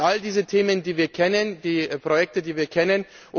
Das sind all diese Themen, die wir kennen, die Projekte, die wir kennen.